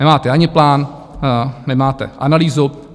Nemáte ani plán, nemáte analýzu.